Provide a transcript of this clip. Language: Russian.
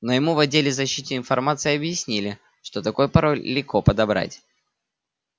но ему в отделе защиты информации объяснили что такой пароль легко подобрать